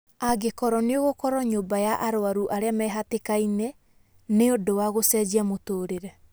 "Angĩkorwo nĩ ũgũkorwo nyũmba ya arũaru arĩa mehatĩkainĩ, nĩ ũndũ wa gũcenjia mũtũrĩre.